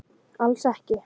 Alls ekki!